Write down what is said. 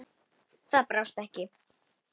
Það brást ekki.